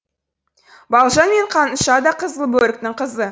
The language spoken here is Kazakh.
балжан мен қаныша да қызылбөріктің қызы